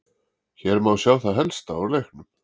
Hér má sjá það helsta úr leiknum: